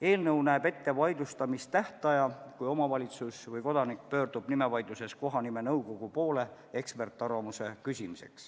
Eelnõu näeb ette ka vaidlustamistähtaja, mille jooksul saab omavalitsus või kodanik nimevaidluses eksperdiarvamuse küsimiseks kohanimenõukogu poole pöörduda.